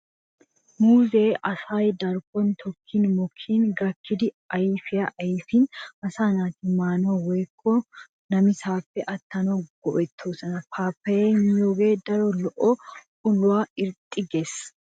Muuzze asay darkkon tokkin mokkidi gakkidi ayfiyaa ayfin asaa naati maanawu woykko namisaappe attanawu go'ettiyooba. Paappaayyiyaa miyoogee daro lo'o uluwan irxxi gees.